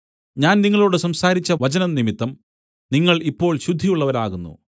ഞാൻ നിങ്ങളോടു സംസാരിച്ച വചനംനിമിത്തം നിങ്ങൾ ഇപ്പോൾ ശുദ്ധിയുള്ളവരാകുന്നു